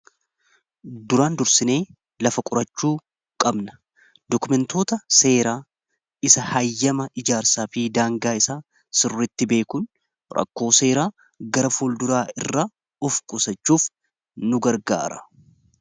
Duraan dursinee lafa qurachuu qabna dokumentoota seeraa isa hayyama ijaarsaa fi daangaa isaa sirritti beekun rakkoo seeraa gara fuulduraa irraa of qusachuuf nu gargaara.